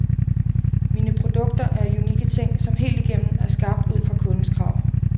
Mine produkter er unikke ting, som helt igennem er skabt ud fra kundens krav.